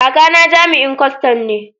Kakana jami'in kwastan ne.